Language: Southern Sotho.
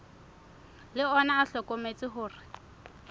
le ona o hlokometse hore